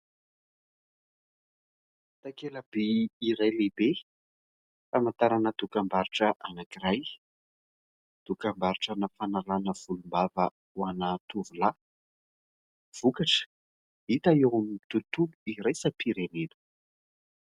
Takelaby iray lehibe hamantarana dokam-barotra anankiray; dokam-barotra na fanalàna volombava ho ana tovolahy. Vokatra hita eo amin'ny tontolo iraisam-pirenena.